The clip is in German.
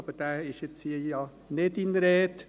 Aber von dem ist hier ja jetzt nicht die Rede.